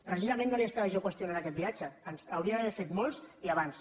precisament no li estava jo qüestionant aquest viatge n’hauria d’haver fet molts i abans